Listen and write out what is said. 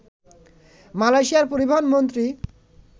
মালয়েশিয়ার পরিবহন মন্ত্রী